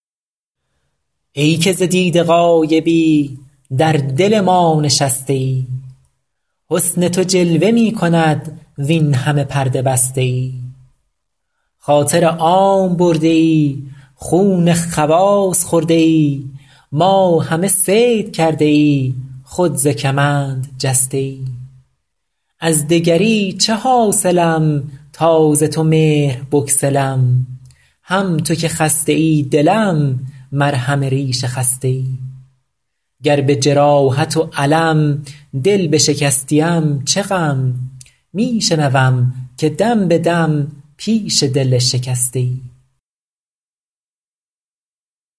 ای که ز دیده غایبی در دل ما نشسته ای حسن تو جلوه می کند وین همه پرده بسته ای خاطر عام برده ای خون خواص خورده ای ما همه صید کرده ای خود ز کمند جسته ای از دگری چه حاصلم تا ز تو مهر بگسلم هم تو که خسته ای دلم مرهم ریش خسته ای گر به جراحت و الم دل بشکستیم چه غم می شنوم که دم به دم پیش دل شکسته ای